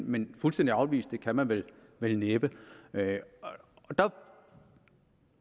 men fuldstændig afvise det kan man vel næppe der